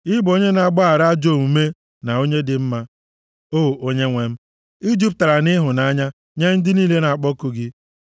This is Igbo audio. Ị bụ onye na-agbaghara ajọ omume na onye dị mma, O Onyenwe m, i jupụtara nʼịhụnanya nye ndị niile na-akpọku gị.